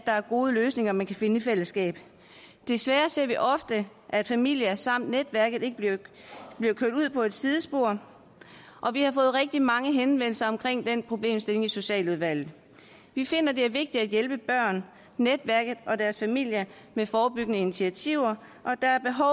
er gode løsninger man kan finde i fællesskab desværre ser vi ofte at familier samt netværket bliver kørt ud på et sidespor og vi har fået rigtig mange henvendelser om den problemstilling i socialudvalget vi finder det er vigtigt at hjælpe børn netværket og deres familier med forebyggende initiativer